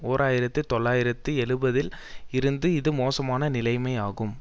ஓர் ஆயிரத்தி தொள்ளாயிரத்து எழுபதுல் இருந்து இது மோசமான நிலைமை ஆகும்